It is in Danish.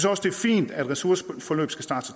også det er fint at ressourceforløb skal starte så